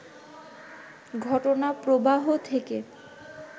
ঘটনাপ্রবাহ থেকে